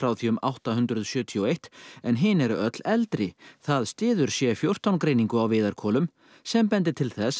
því um átta hundruð sjötíu og eitt en hin eru öll eldri það styður c fjórtán greiningu á viðarkolum sem bendir til þess að